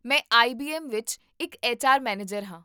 ਮੈਂ ਆਈ.ਬੀ.ਐੱਮ. ਵਿੱਚ ਇੱਕ ਐੱਚ ਆਰ ਮੈਨੇਜਰ ਹਾਂ